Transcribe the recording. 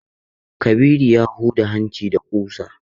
Kabiru ya huda hanci da kusa.